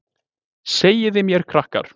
Segiði mér krakkar.